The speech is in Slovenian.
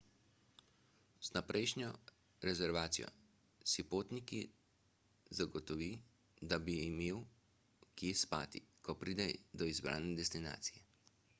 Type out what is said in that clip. z vnaprejšnjo rezervacijo si popotnik zagotovi da bo imel kje spati ko pride do izbrane destinacije